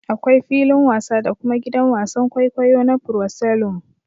Akwai filin wasa da kuma gidan wasan kwaikwayo na proscelum